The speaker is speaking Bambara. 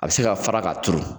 A bɛ se ka fara ka turu.